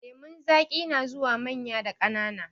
Lemun zaƙi na zuwa manya da ƙanana.